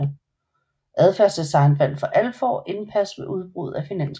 Adfærdsdesign vandt for alvor indpas med udbruddet af finanskrisen